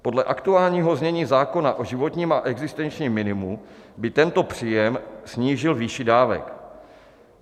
Podle aktuálního znění zákona o životním a existenčním minimu by tento příjem snížil výši dávek.